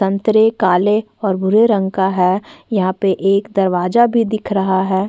सन्तरे काले और बुरे रंग का है यहाँ पे एक दरवाजा भी दिख रहा है।